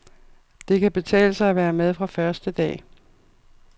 Det kan betale sig at være med fra første dag.